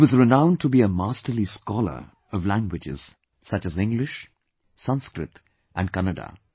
He was renowned to be a masterly scholar of languages such as English, Sanskrit and Kannada